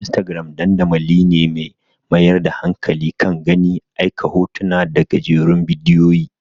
Instagram dandamali ne mai mayar da hankali kan gani, aika hotuna da gajerun bidiyoyi.